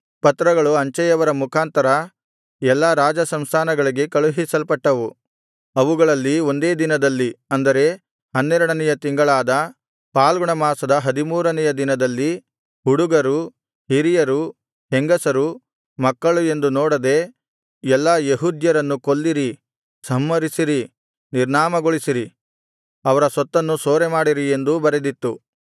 ಪತ್ರಗಳು ಅಂಚೆಯವರ ಮುಖಾಂತರ ಎಲ್ಲಾ ರಾಜಸಂಸ್ಥಾನಗಳಿಗೆ ಕಳುಹಿಸಲ್ಪಟ್ಟವು ಅವುಗಳಲ್ಲಿ ಒಂದೇ ದಿನದಲ್ಲಿ ಅಂದರೆ ಹನ್ನೆರಡನೆಯ ತಿಂಗಳಾದ ಫಾಲ್ಗುಣಮಾಸದ ಹದಿಮೂರನೆಯ ದಿನದಲ್ಲಿ ಹುಡುಗರು ಹಿರಿಯರು ಹೆಂಗಸರು ಮಕ್ಕಳು ಎಂದು ನೋಡದೆ ಎಲ್ಲಾ ಯೆಹೂದ್ಯರನ್ನು ಕೊಲ್ಲಿರಿ ಸಂಹರಿಸಿರಿ ನಿರ್ನಾಮಗೊಳಿಸಿರಿ ಅವರ ಸೊತ್ತನ್ನು ಸೂರೆಮಾಡಿರಿ ಎಂದೂ ಬರೆದಿತ್ತು